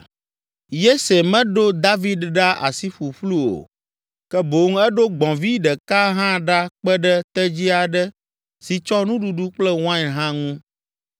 Yese meɖo David ɖa asi ƒuƒlu o, ke boŋ eɖo gbɔ̃vi ɖeka hã ɖa kpe ɖe tedzi aɖe si tsɔ nuɖuɖu kple wain hã ŋu.